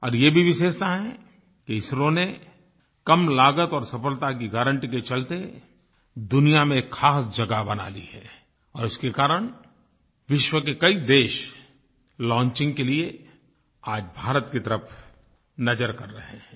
और ये भी विशेषता है कि इसरो ने कम लागत और सफलता की गारंटी के चलते दुनिया में ख़ास जगह बना ली है और उसके कारण विश्व के कई देश लॉन्चिंग के लिए आज भारत की तरफ़ नज़र कर रहे हैं